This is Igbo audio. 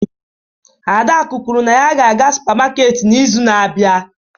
Adaku kwuru na ya ga-aga supamaket n'izu na-abịa.